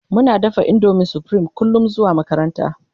Muna dafa indomin supreme kullum zuwa makaranta